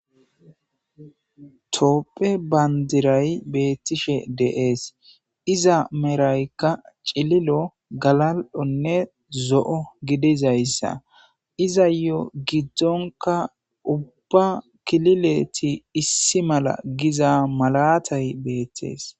toopphe bandiray beettishe de'es iza meraykka cililo galal'onne zo'o gidizayssa iza yoo giddonka ubbba kilileti issi mala giza malatay beettees